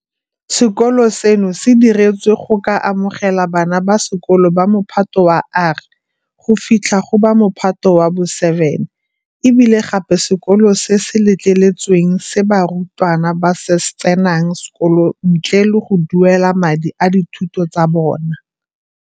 Sekolo seno se diretswe go ka amogela bana ba sekolo ba Mophato wa R go fitlha go ba Mophato wa bo 7 e bile gape ke sekolo se se letleletsweng se barutwana ba tsenang sekolo ntle le go duelela madi a dithuto tsa bona.